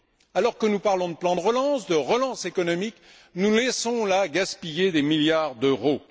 Alors que nous parlons de plan de relance, de relance économique, nous laissons là gaspiller des milliards d'euros.